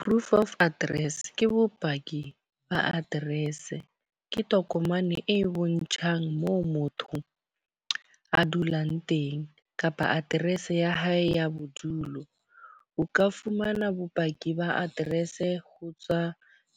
Proof of address, ke bopaki ba address. Ke tokomane e bontshang moo motho a dulang teng kapa address ya hae ya bodulo. O ka fumana bopaki ba address ho tswa